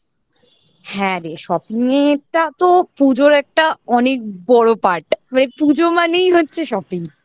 হ্যাঁ রে shopping টা তো পুজোর একটা অনেক বড় part মানে পুজো মানেই হচ্ছে shopping